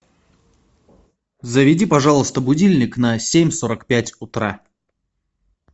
заведи пожалуйста будильник на семь сорок пять утра